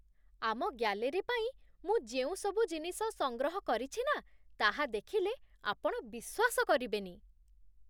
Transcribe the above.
ଆମ ଗ୍ୟାଲେରୀ ପାଇଁ ମୁଁ ଯେଉଁସବୁ ଜିନିଷ ସଂଗ୍ରହ କରିଛି ନା ତାହା ଦେଖିଲେ ଆପଣ ବିଶ୍ୱାସ କରିବେନି!